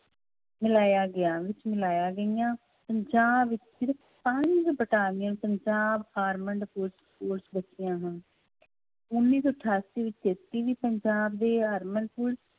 ਮਿਲਾਇਆ ਗਿਆ ਵਿੱਚ ਮਿਲਾਇਆ ਗਈਆਂ ਪੰਜਾਬ ਵਿੱਚ ਸਿਰਫ਼ ਪੰਜ ਪੰਜਾਬ armed ਪੁਲਿਸ ਫੋਰਸ ਉੱਨੀ ਸੌ ਅਠਾਸੀ ਵਿੱਚ ਵੀ ਪੰਜਾਬ ਦੇ armed ਪੁਲਿਸ